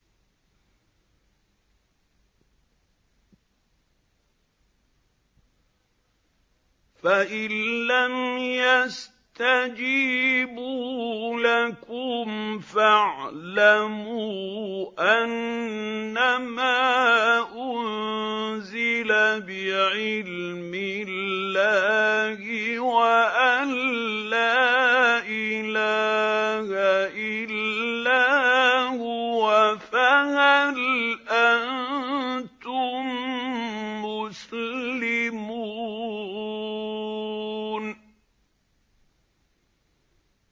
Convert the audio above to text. فَإِلَّمْ يَسْتَجِيبُوا لَكُمْ فَاعْلَمُوا أَنَّمَا أُنزِلَ بِعِلْمِ اللَّهِ وَأَن لَّا إِلَٰهَ إِلَّا هُوَ ۖ فَهَلْ أَنتُم مُّسْلِمُونَ